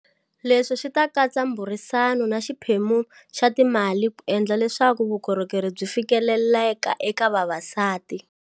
Leswi swi ta katsa mburisano na xiphemu xa timali ku endla leswaku vukorhokeri byi fikeleleka eka vavasati.